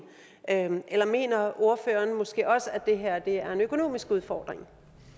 eller mener ordføreren måske også at det her er en økonomisk udfordring